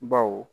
Baw